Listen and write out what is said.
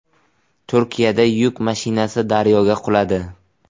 Turkiyada yuk mashinasi daryoga quladi.